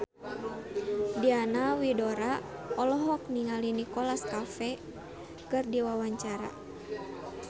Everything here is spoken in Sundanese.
Diana Widoera olohok ningali Nicholas Cafe keur diwawancara